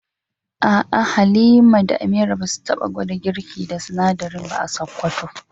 A'a Halima da Amira ba su taba gwada girki da sinadarin ba a Sokoto.